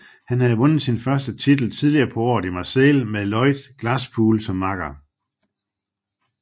Han havde vundet sin første titel tidligere på året i Marseille med Lloyd Glasspool som makker